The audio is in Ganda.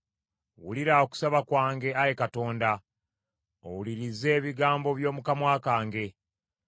Wulira okusaba kwange, Ayi Katonda, owulirize ebigambo by’omu kamwa kange.